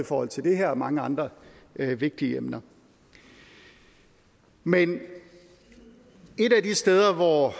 forhold til det her og mange andre vigtige emner men et af de steder hvor